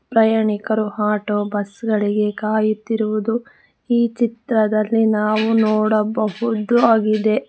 ಪ್ರಯಾಣಿಕರು ಆಟೋ ಬಸ್ಗಳಿಗೆ ಕಾಯುತ್ತಿರುವುದು ಈ ಚಿತ್ರದಲ್ಲಿ ನಾವು ನೋಡಬಹುದು ಆಗಿದೆ.